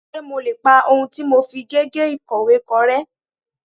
Ṣé mo lè pa ohun tí mo fi gègé ìkọ̀wé kọ rẹ́.?